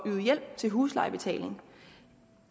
yde hjælp til huslejebetaling